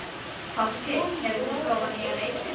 Fálki, hefur þú prófað nýja leikinn?